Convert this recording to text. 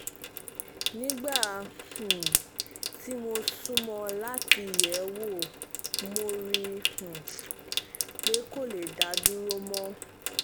nígbà um tí mo sún mọ́ ọn láti yẹ̀ ẹ́ wò mo rí um i pé kò lè dá dúró mọ́